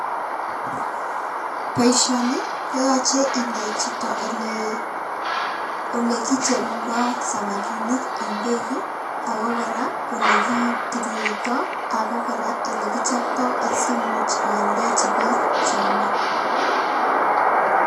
Boisioni koyoche inai chito ole ole kicherundo samakinik en beek ii ako kora olekitililito ako kora ile kichopto asimuch ioldechi biik cheome.